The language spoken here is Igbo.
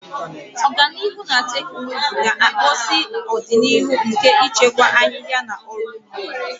Ọganihu na teknụzụ ga-akpụzi ọdịnihu nke ịchịkwa ahịhịa na ọrụ ugbo.